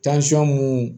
mun